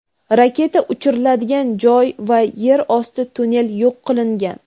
raketa uchiriladigan joy va yer osti tunnel yo‘q qilingan.